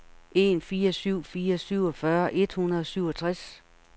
en fire syv fire syvogfyrre et hundrede og syvogtres